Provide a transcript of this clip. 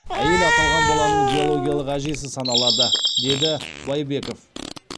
әйел аталған баланың биологиялық әжесі саналады деді дбайбеков